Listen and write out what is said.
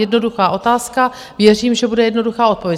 Jednoduchá otázka, věřím, že bude jednoduchá odpověď.